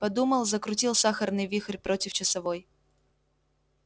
подумал закрутил сахарный вихрь против часовой